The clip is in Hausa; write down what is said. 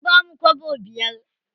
An bamu kwabo biyar.